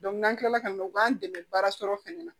n'an kilala ka na u b'an dɛmɛ baara sɔrɔ fɛnɛ na